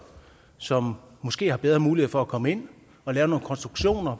som måske har bedre mulighed for at komme ind og lave nogle konstruktioner